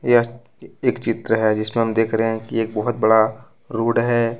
यह एक चित्र है जिसमें हम देख रहे हैं कि एक बहुत बड़ा रोड है।